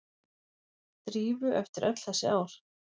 Drífu eftir öll þessi ár.